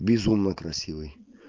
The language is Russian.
безумно красивый